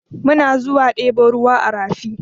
Muna zuwa ɗebo ruwa a rafi.